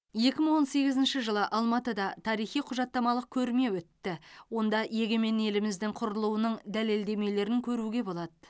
екі мың он сегізінші жылы алматыда тарихи құжаттамалық көрме өтті онда егемен еліміздің құрылуының дәлелдемелерін көруге болады